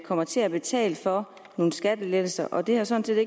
kommer til at betale for nogle skattelettelser og det har sådan